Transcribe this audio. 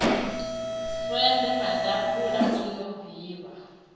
sende maḓabula o no vhibva